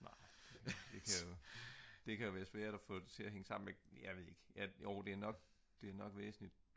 det kan jo svært at få det til at hænge sammen med jeg ved det ik ja jo det er nok væsentligt